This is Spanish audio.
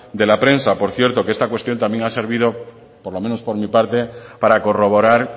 de la prensa por cierto que esta cuestión también ha servido por lo menos por mi parte para corroborar